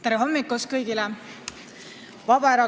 Tere hommikust kõigile!